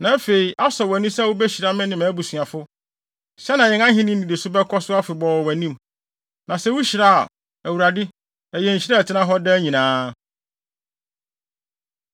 Na afei asɔ wʼani sɛ wubehyira me ne mʼabusuafo, sɛnea yɛn ahenni nnidiso bɛkɔ so afebɔɔ wɔ wʼanim. Na sɛ wuhyira a, Awurade, ɛyɛ nhyira a ɛtena hɔ daa nyinaa!”